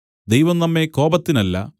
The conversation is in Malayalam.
ദൈവം നമ്മെ കോപത്തിനല്ല